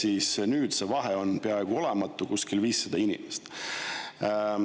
Aga nüüd see vahe on peaaegu olematu, kuskil 500 inimest.